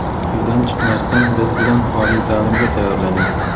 Uydan chiqmasdan biz bilan oliy ta’limga tayyorlaning.